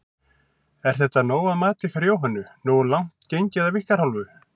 Er þetta nóg að mati ykkar Jóhönnu, nógu langt gengið af ykkar hálfu?